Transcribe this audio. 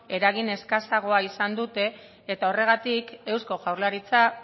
eragin eskasagoa izan dute eta horregatik eusko jaurlaritza